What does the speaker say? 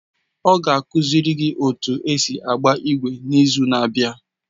Ọ ga-akụziri gị otú esi agba ígwè n’izu na-abịa.